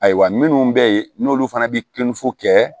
Ayiwa minnu bɛ yen n'olu fana bɛ kilinifu kɛ